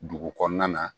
Dugu kɔnɔna na